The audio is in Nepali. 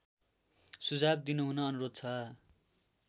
सुझाव दिनुहुन अनुरोध छ